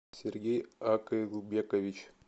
сергей акылбекович